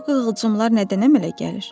Bu qığılcımlar nədən əmələ gəlir?